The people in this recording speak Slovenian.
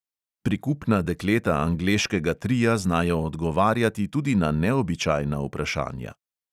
Prikupna dekleta angleškega tria znajo odgovarjati tudi na neobičajna vprašanja.